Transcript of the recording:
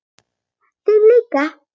Þín líka.